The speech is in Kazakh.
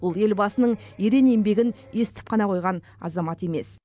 ол елбасының ерен еңбегін естіп қана қойған азамат емес